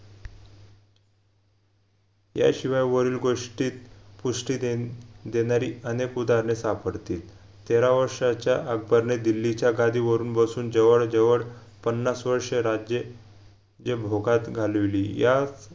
याशिवाय वरील गोष्टीत पुष्टि देण देणारी अनेक उदाहरणे सापडतील तेरा वर्षाच्या अकबरने दिल्लीच्या गादीवरुन बसून जवळ जवड पन्नास वर्ष राज्य जेभोगात घालविली या